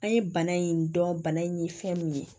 An ye bana in dɔn bana in ye fɛn mun ye